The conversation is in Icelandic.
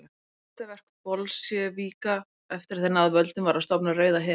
Eitt fyrsta verk Bolsévíka eftir að þeir náðu völdum var að stofna Rauða herinn.